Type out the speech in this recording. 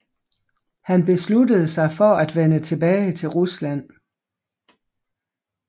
Han besluttede sig for at vende tilbage til Rusland